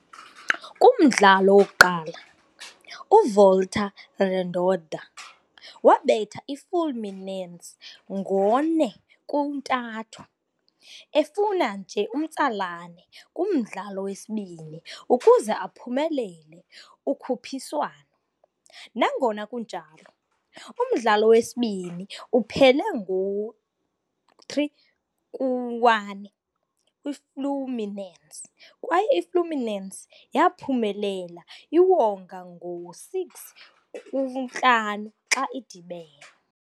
Kumdlalo wokuqala, uVolta Redonda wabetha iFluminense ngo'4-3, efuna nje umtsalane kumdlalo wesibini ukuze aphumelele ukhuphiswano. Nangona kunjalo, umdlalo wesibini uphele ngo-3-1 kwiFluminense, kwaye iFluminense yaphumelela iwonga ngo-6-5 xa idibene.